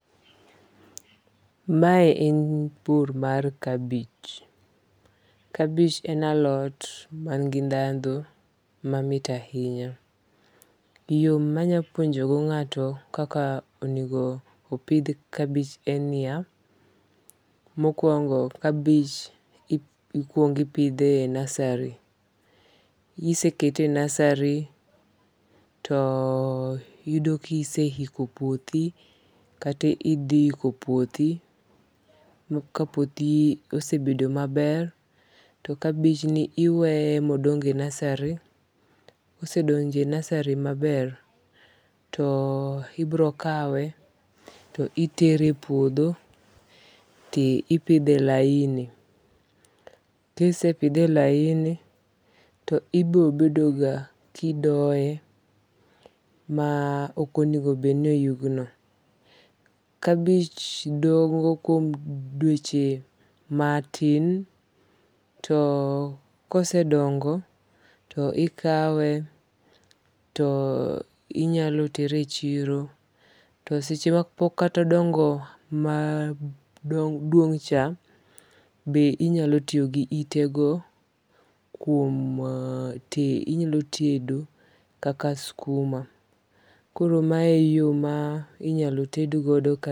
Mae en pur mar kabich. Kabich en alot man gi ndhandhu mamit ahinya. Yo manya puonjo go ng'ato kaka onego pidh kabich en niya, mokwongo kabich ikwongo ipidhe e nursery. Kisekete e nursery to yudo kise hiko puothi kata idhi hiko puothi ma ka puothi osebedo maber to kabich ni iweye modong e nursery. Kosedonge nursery maber to ibiro kawe to itere e puodho tipidhe e laini. Kisepidhe e laini to ibiro bedo ga kidoye ma okonego bed ni oyugno. Kabich dongo kuom dweche matin to kosedongo to ikawe to inyalo tere e chiro. To seche ma po kata odongo maduong' cha be inyalo tiyo gi ite go kuom inyalo tedo kaka skuma. Koro mae yo ma inyalotedgo.